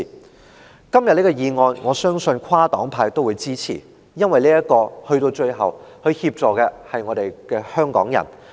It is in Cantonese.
我相信今天這項議案會得到跨黨派的支持，因為說到最後，它協助的對象是香港人。